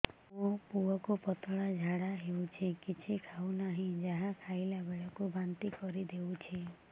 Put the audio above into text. ମୋ ପୁଅ କୁ ପତଳା ଝାଡ଼ା ହେଉଛି କିଛି ଖାଉ ନାହିଁ ଯାହା ଖାଇଲାବେଳକୁ ବାନ୍ତି କରି ଦେଉଛି